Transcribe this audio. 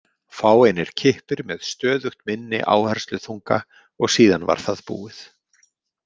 Fáeinir kippir með stöðugt minni áhersluþunga og síðan var það búið.